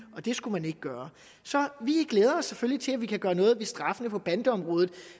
og det skulle man ikke gøre så vi glæder os selvfølgelig til at vi kan gøre noget ved straffene på bandeområdet